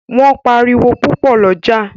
Wón pá àriwo pupo l’oja